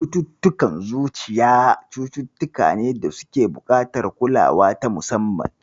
Cututtukan zuciya cututtuka ne da suke buƙatar kulawa ta musamman.